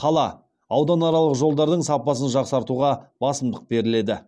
қала ауданаралық жолдардың сапасын жақсартуға басымдық беріледі